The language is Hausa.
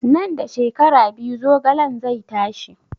Nan da shekara biyu zogalen zai tashi